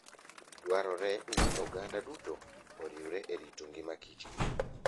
Dwarore ni oganda duto oriwre e rito ngima Kichgo